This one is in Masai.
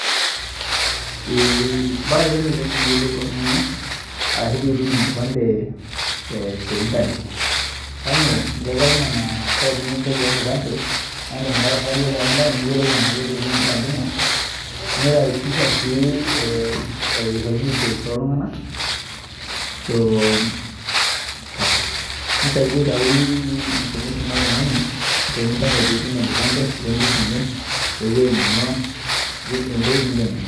Ee ipae kelelek pee iyiolou oltung'ani ashu pee itum enkipande te internet, kainyioo keetai nena code nikinchori enkipande naa iindim ake aing'urarie te online enaa ketupukuo enkipande ino niraisisha sii eishoru [cs[details oltung'anak nisaidia aitau information oltung'ani te internet pee itum enkipande o empisha enye o ewueji ning'uaa, intokitin nijio nena.